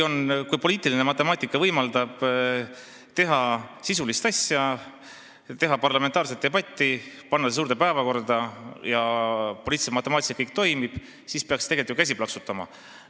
Kui poliitiline matemaatika võimaldab teha sisulist asja, pidada parlamentaarset debatti, panna see teema suure saali päevakorda ning poliitilise matemaatika järgi kõik toimib, siis peaks tegelikult ju käsi plaksutama.